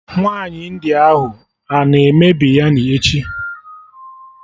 Nwaanyi India ahụ a na-eme Biryani echi?